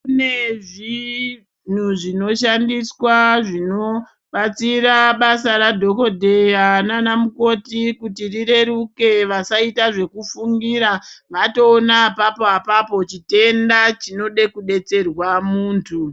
Kune zvinhu zvinoshandiswa zvinobatsira basa radhokodheya nana mukoti kuti rireruke vasaita zvekufungira vatoona apapo apapo chitenda chinode kudetserwa muntu.